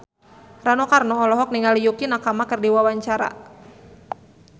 Rano Karno olohok ningali Yukie Nakama keur diwawancara